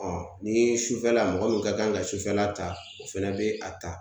Ɔ ni sufɛla mɔgɔ min ka kan ka sufɛla ta o fɛnɛ be a ta